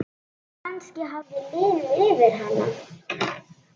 Kannski hafði liðið yfir hana.